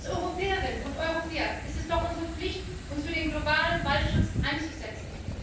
Als Europäerinnen und Europäer ist es doch unsere Pflicht, uns für den globalen Waldschutz einzusetzen.